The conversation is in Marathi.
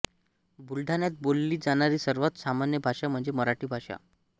बुलढाण्यात बोलली जाणारी सर्वात सामान्य भाषा म्हणजे मराठी भाषा